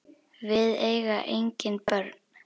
Við eiga engin börn.